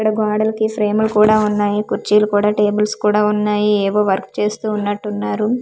ఇక్కడ గోడలకి ఫ్రేములు కూడా ఉన్నాయి కుర్చీలు కూడా టేబుల్స్ కూడా ఉన్నాయి ఏవో వర్క్ చేస్తూ ఉన్నట్టున్నారు.